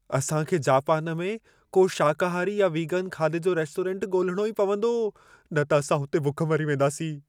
असां खे जापान में को शाकाहारी या वीगन खाधे जो रेस्टोरेंट ॻोल्हिणो ई पवंदो, न त असां हुते बुख मरी वेंदासीं।